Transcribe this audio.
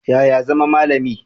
Yaya zama malami?